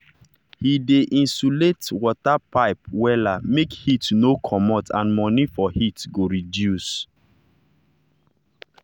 he dey insulate insulate water pipe wella make heat no comot and money for heat go reduce.